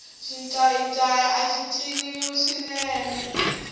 xincayincayi axi ciniwa swinene